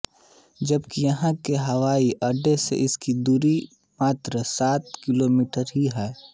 जबकि यहाँ के हवाई अड्डे से इसकी दूरी मात्र सात किलोमीटर ही है